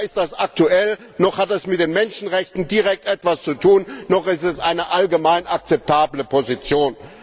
Weder ist das aktuell, noch hat das mit den Menschenrechten direkt etwas zu tun, noch ist es eine allgemein akzeptable Position.